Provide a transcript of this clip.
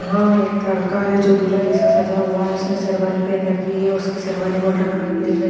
यह एक लड़का है जो दूल्हा के जैसा सज़ा हुआ है उसने शेरवानी पहन रखी है उसकी शेरवानी गोल्डन कलर की दिख रही --